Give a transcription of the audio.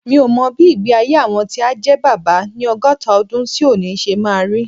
Mi ò mọ bí ìgbé-ayé àwọn tí á jẹ́ bàbá ni ọgọ́ta ọdún sí òní ṣe máa rí.